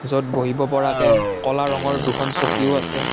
য'ত বহিব পৰাকে ক'লা ৰঙৰ দুখন চকীও আছে।